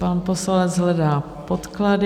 Pan poslanec hledá podklady...